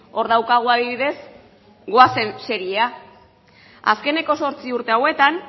hor daukagu adibidez goazen seriea azkeneko zortzi urte hauetan